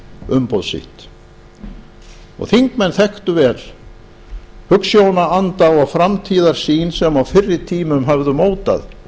umboð sitt og þingmenn þekktu vel hugsjónaanda og framtíðarsýn sem á fyrri tímum höfðu mótað